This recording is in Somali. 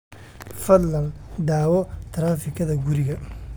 fadlan daawo taraafikada guriga